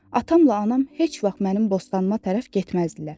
Atamla anam heç vaxt mənim bostanıma tərəf getməzdilər.